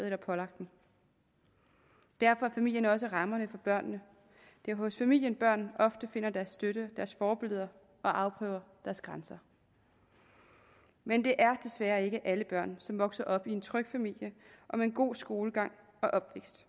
eller pålagt dem derfor er familien også rammen for børnene det er hos familien børn ofte finder deres støtte deres forbilleder og afprøver deres grænser men det er desværre ikke alle børn som vokser op i en tryg familie og med en god skolegang